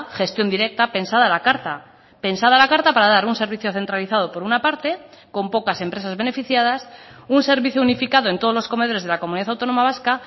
gestión directa pensada a la carta pensada a la carta para dar un servicio centralizado por una parte con pocas empresas beneficiadas un servicio unificado en todos los comedores de la comunidad autónoma vasca